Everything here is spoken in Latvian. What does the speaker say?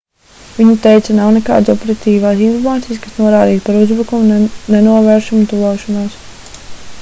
viņa teica nav nekādas operatīvās informācijas kas norādītu par uzbrukuma nenovēršamu tuvošanos